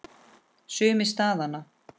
Sumir staðna.